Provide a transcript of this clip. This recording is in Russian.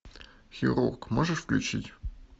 хирург можешь включить